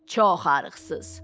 Çox arıqsız.